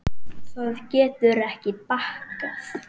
Það getur ekki bakkað.